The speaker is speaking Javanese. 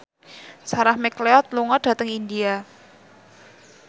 Sarah McLeod lunga dhateng India